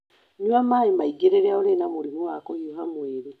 Nyua maĩ maingĩ rĩrĩa ũrĩ na mũrimũ wa kũhiũha mwĩrĩ.